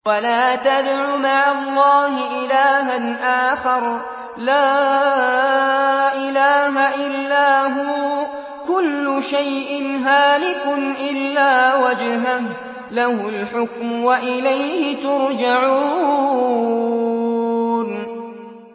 وَلَا تَدْعُ مَعَ اللَّهِ إِلَٰهًا آخَرَ ۘ لَا إِلَٰهَ إِلَّا هُوَ ۚ كُلُّ شَيْءٍ هَالِكٌ إِلَّا وَجْهَهُ ۚ لَهُ الْحُكْمُ وَإِلَيْهِ تُرْجَعُونَ